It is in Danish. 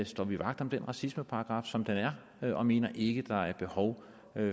står vi vagt om den racismeparagraf som den er og mener ikke der er behov